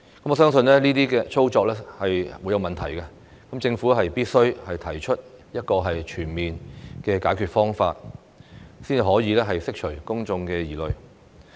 我相信這些操作會產生問題，政府必須提出一個全面的解決方案，才可以釋除公眾疑慮。